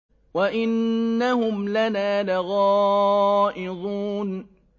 وَإِنَّهُمْ لَنَا لَغَائِظُونَ